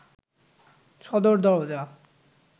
সদর দরজা